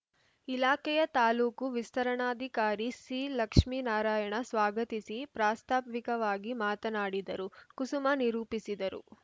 ಇಲಾಖೆಯ ತಾಲ್ಲೂಕು ವಿಸ್ತರಣಾಧಿಕಾರಿ ಸಿಲಕ್ಷ್ಮೀ ನಾರಾಯಣ ಸ್ವಾಗತಿಸಿ ಪ್ರಾಸ್ತಾವಿಕವಾಗಿ ಮಾತನಾಡಿದರು ಕುಸುಮ ನಿರೂಪಿಸಿದರು